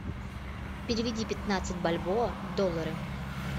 переведи пятнадцать бальбоа в доллары